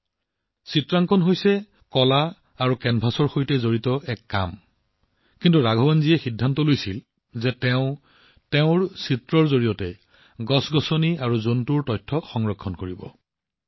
জানেনে চিত্ৰকলা শিল্প আৰু কেনভাছৰ সৈতে জড়িত কাম কিন্তু ৰাঘৱন জীয়ে সিদ্ধান্ত লৈছিল যে তেওঁ নিজৰ চিত্ৰকলাৰ জৰিয়তে উদ্ভিদ আৰু প্ৰাণীৰ তথ্য সংৰক্ষণ কৰিব